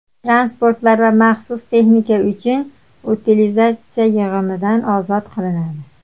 transportlar va maxsus texnika uchun utilizatsiya yig‘imidan ozod qilinadi;.